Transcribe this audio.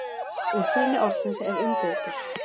Uppruni orðsins er umdeildur.